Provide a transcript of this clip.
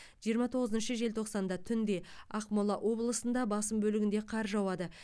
жиырма тоғызыншы желтоқсанда түнде ақмола облысында басым бөлігінде қар жауады